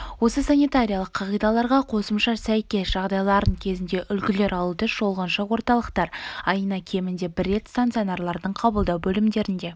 осы санитариялық қағидаларға қосымшаға сәйкес жағдайларын кезінде үлгілер алуды шолғыншы орталықтар айына кемінде бір рет стационарлардың қабылдау бөлімдерінде